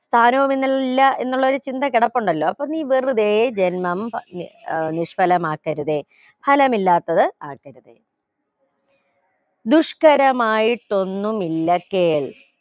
സ്ഥാനോഎന്നിൽ ഇല്ല എന്നുള്ള ഒരു ചിന്ത കിടപ്പുണ്ടല്ലോ അപ്പൊ നീ വെറുതെ ജന്മം പ് ഏർ നിഷ്‌ഫലമാക്കരുതേ ഫലമില്ലാത്തത് ആക്കരുതേ ദുഷ്ക്കരമായിട്ടൊന്നുമില്ല കേൽ